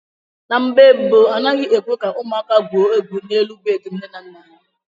Na mgbe mbu, a naghị ekwe ka ụmụaka gwuo egwu n'elu bedị nne na nna ha.